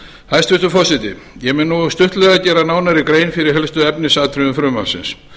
hæstvirtur forseti ég mun nú stuttlega gera nánari grein fyrir helstu efnisatriðum frumvarpsins